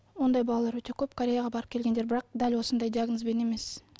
ондай балалар өте көп кореяға барып келгендер бірақ дәл осындай диагнозбен емес